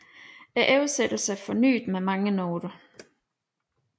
Oversættelsen er forsynet med mange noter